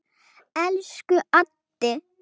Elsku Addi.